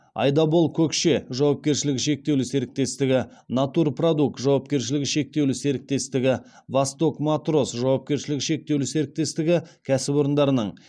айдабол көкше жауапкершілігі шектеулі серіктестігі натур продукт жауапкершілігі шектеулі серіктестігі восток мотрос жауапкершілігі шектеулі серіктестігі кәсіпорындарының